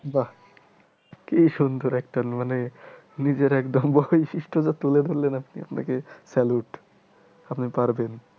বাহ কি সুন্দর একটা মানে নিজের একদম বৈশিষ্টটা তুলে ধরলেন আপনি আপনাকে salute আপনি পারবেন।